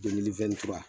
Delili fura